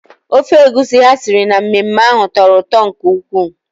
Ofe egusi ha siri na mmemme ahụ tọrọ ụtọ nke ukwuu.